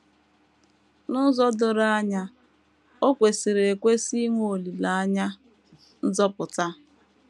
N’ụzọ doro anya, o kwesịrị ekwesị inwe olileanya nzọpụta.